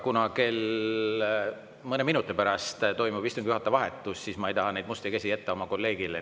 Kuna mõne minuti pärast toimub istungi juhataja vahetus, siis ma ei taha neid musti käsi jätta oma kolleegile.